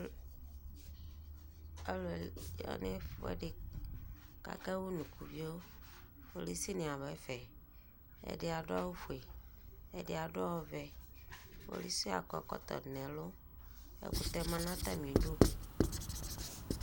Alu yanɛfuɛdi, kakawunukuvioKpolusi ni abɛfɛƐdi adʋ awu fue, ɛdi adʋ ɔvɛKpolusi akɔ ɛkɔtɔ dʋ nɛluƐkutɛ ma natamidu